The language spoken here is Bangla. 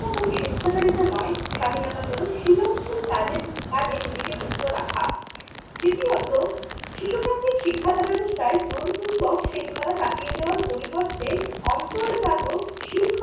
কোন স্বেচ্ছাচারিতা নয়, স্বাধীনতা হল সৃজনশীল কাজের কাজে নিজেকে যুক্ত রাখা। দ্বিতীয়ত শিশু কেন্দ্রিক শিক্ষা ব্যবস্থায় জোরপূর্বক শৃঙ্খলা কাটিয়ে যাওয়ার পরিবর্তে অন্তজাত শৃঙ্খলার